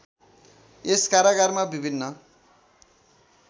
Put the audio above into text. यस कारागारमा विभिन्न